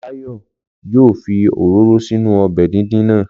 Láyọ̀ yoo fi òróró sínú ọbẹ̀ díndín náà.